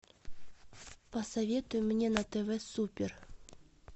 посоветуй мне на тв супер